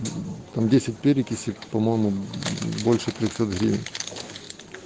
десять перекиси по-моему больше трёхсот гривен